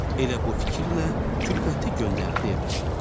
Elə bu fikirlə külfəti göndərdi evə.